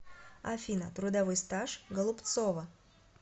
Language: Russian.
афина трудовой стаж голубцова